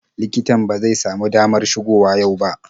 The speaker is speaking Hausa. Likitan ba zai samu damar shigo wa yau ba.